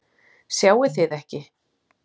Sjáið þið ekki?